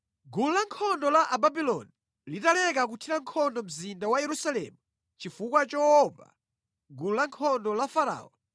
Gulu lankhondo la Ababuloni litaleka kuthira nkhondo mzinda wa Yerusalemu chifukwa choopa gulu lankhondo la Farao,